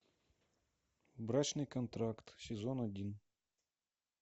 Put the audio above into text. брачный контракт сезон один